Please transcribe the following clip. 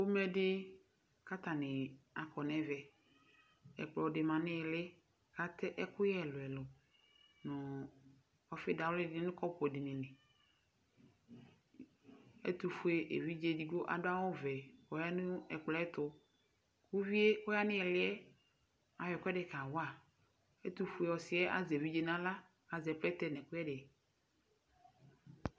Pomɛ di, kʋ atani akɔ nʋ ɛvɛ Ɛkplɔ di ma nʋ ili, kʋ atɛ ɛkʋyɛ ɛlʋ ɛlʋ, nʋ ɔfɩ dawli di nʋ kɔpʋ dini li Ɛtʋfue evidze edigbo, adu awuvɛ, kʋ ɔyanʋ ɛkplɔ yɛ ɛtʋ Kʋ uvi yɛ kʋ ɔyanʋ ili yɛ ayɔ ɛkʋɛdɩ kawa Ɛtʋfue ɔsi yɛ azɛ evidze nʋ aɣla, kʋ azɛ plɛtɛ nʋ ɛkʋyɛ di